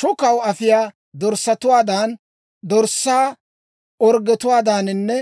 Shukkanaw afiyaa dorssatuwaadan, dorssaa orggetuwaadaaninne